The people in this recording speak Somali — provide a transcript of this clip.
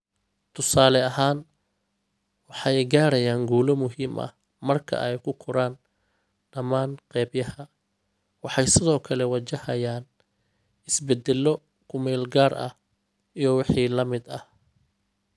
Tusaale ahaan, waxay gaarayaan guulo muhiim ah marka ay ku koraan dhammaan qaybaha, waxay sidoo kale wajahayaan isbeddello ku-meel-gaar ah iyo wixii la mid ah.